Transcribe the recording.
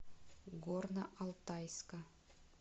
горно алтайска